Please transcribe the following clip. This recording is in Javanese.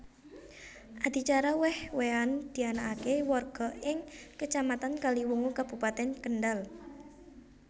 Adicara wèh wèhan dianakaké warga ing Kecamatan Kaliwungu Kabupatèn Kendhal